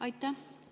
Aitäh!